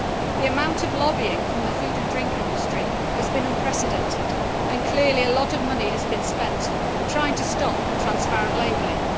The amount of lobbying from the food and drink industry has been unprecedented, and clearly a lot of money has been spent trying to stop transparent labelling.